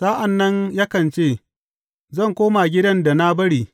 Sa’an nan yakan ce, Zan koma gidan da na bari.’